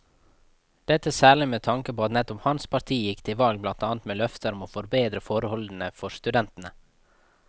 Dette særlig med tanke på at nettopp hans parti gikk til valg blant annet med løfter om å bedre forholdene for studentene.